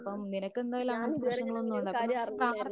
അപ്പം നിനക്കെന്തായാലും അങ്ങനത്തെ പ്രശ്നങ്ങളൊന്നും അപ്പോ നമുക്ക്